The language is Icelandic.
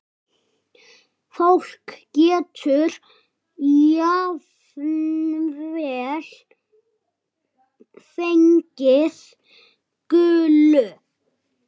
Fólk getur jafnvel fengið gulu.